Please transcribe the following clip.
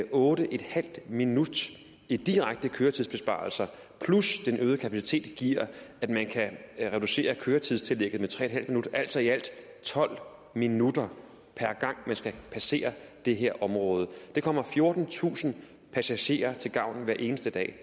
otte en halv minut i direkte køretidsbesparelse plus at den øgede kapacitet giver at man kan reducere køretidstillægget med tre en halv minut altså i alt tolv minutter per gang man skal passere det her område det kommer fjortentusind passagerer til gavn hver eneste dag